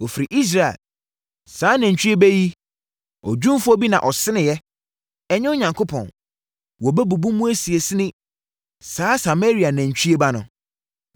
Wɔfiri Israel! Saa nantwie ba yi, odwumfoɔ bi na ɔseneeɛ; ɛnyɛ Onyankopɔn! Wɔbɛbubu mu asinasini, saa Samaria nantwie ba no.